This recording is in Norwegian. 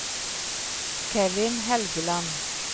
Kevin Helgeland